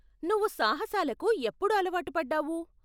నువ్వు సాహసాలకు ఎప్పుడు అలవాటు పడ్డావు?